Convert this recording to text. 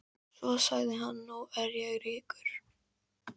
Svo sagði hann: Nú er ég ríkur.